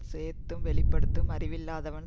சேர்த்தும் வெளிபடுத்தும் அறிவில்லாதவன்